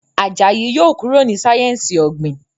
Àjàyí yóò kúrò ní sáyẹnsì ogbin.